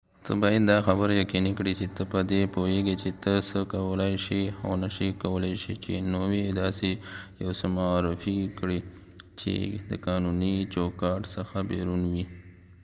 ته باید دا خبره یقینی کړی چی ته په دی پوهیږی چی ته څه کولای شی او نه شی کولای چی نوی داسی یو څه معرفی کړی چی د قانونی چوکاټ څخه بیرون وی